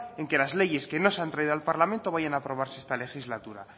en que las leyes que no se han traído al parlamento vayan a aprobarse esta legislatura